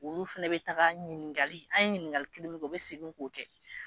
Olu fana bɛ taa ɲininka an ye ɲininkali kelen kɔ u bɛ segin'o kɛ